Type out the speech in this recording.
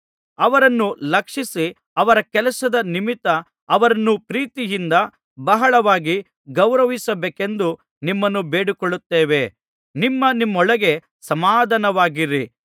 ಅವರನ್ನು ಲಕ್ಷಿಸಿ ಅವರ ಕೆಲಸದ ನಿಮಿತ್ತ ಅವರನ್ನು ಪ್ರೀತಿಯಿಂದ ಬಹಳವಾಗಿ ಗೌರವಿಸಬೇಕೆಂದು ನಿಮ್ಮನ್ನು ಬೇಡಿಕೊಳ್ಳುತ್ತೇವೆ ನಿಮ್ಮ ನಿಮ್ಮೊಳಗೆ ಸಮಾಧಾನವಾಗಿರಿ